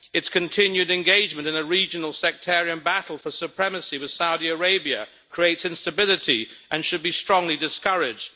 Its continued engagement in a regional, sectarian battle for supremacy with Saudi Arabia creates instability and should be strongly discouraged.